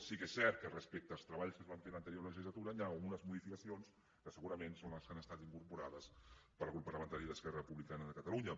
sí que és cert que respecte als treballs que es van fer en l’anterior legislatura hi han algunes modificacions que segurament són les que han estat incorporades pel grup parlamentari d’esquerra republicana de catalunya